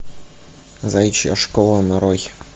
заячья школа нарой